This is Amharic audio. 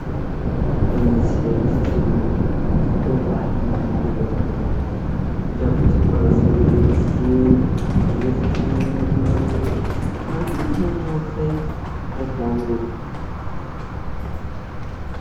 ኧረ እነዚህ ሰዎች ደስ ስል! የባህል ምግብ እየበሉ ዳቦው ሲቆረስ ደስ ሲል ኧረ ደስ ሲሉሉሉሉሉ! እናንተ እዩት ሲያምር።